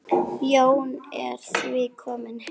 Jón er því kominn heim.